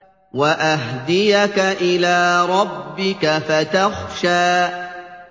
وَأَهْدِيَكَ إِلَىٰ رَبِّكَ فَتَخْشَىٰ